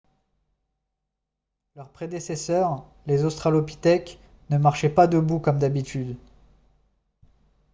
leurs prédécesseurs les australopithèques ne marchaient pas debout comme d'habitude